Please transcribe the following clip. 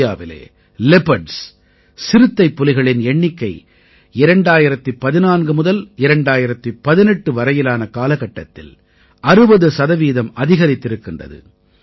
இந்தியாவிலே லியோபார்ட்ஸ் சிறுத்தைப்புலிகளின் எண்ணிக்கை 2014 முதல் 2018 வரையிலான காலகட்டத்தில் 60 சதவீதம் அதிகரித்திருக்கிறது